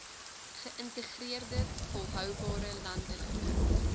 geïntegreerde volhoubare landelike